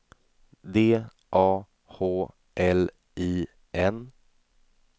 D A H L I N